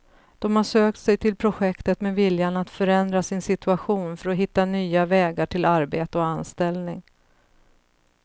De har sökt sig till projektet med viljan att förändra sin situation för att hitta nya vägar till arbete och anställning.